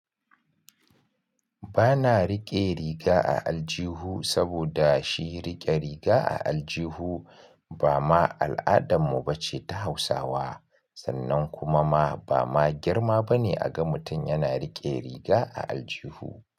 Bana riƙe riga a aljihu saboda shi riƙe riga a aljihu ba ma al'adan mu bace ta Hausawa sannan kuma ma ba ma girma bane a ga mutum yana riƙe riga a aljihu.